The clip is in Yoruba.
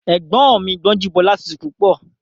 Ẹ̀gbọ́n mi Gbọ́njúbọ́lá tutù púpọ̀